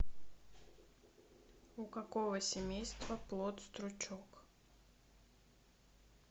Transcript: у какого семейства плод стручок